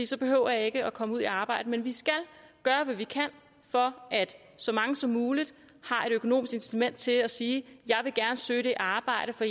så behøver jeg ikke at komme ud i arbejde men vi skal gøre hvad vi kan for at så mange som muligt har et økonomisk incitament til at sige jeg vil gerne søge det arbejde for